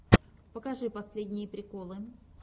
покажи последние приколы